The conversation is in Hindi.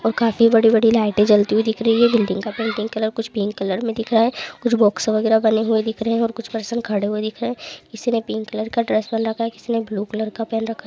और काफी बडी बडी लाइटे ज़्वलति हुई दिख रही हैं बिल्डिंग का पेंटिंग कलर कुछ पिंक कलर में दिख रहा हैं कुछ बॉक्स बगेरा बने हुए दिख रहे है और कुछ पर्सन खड़े हुए दिख रहे हे किसी ने पिंक कलर का ड्रेस पहेन रखा हे किसी ब्लू कलर का पहन रखा --